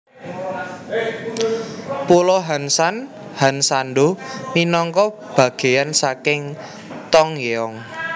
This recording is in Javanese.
Pulo Hansan Hansando minangka bagèyan saking Tongyeong